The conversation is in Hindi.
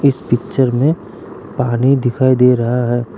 इस पिक्चर मे पानी दिखाई दे रहा है।